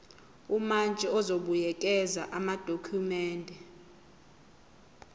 umantshi uzobuyekeza amadokhumende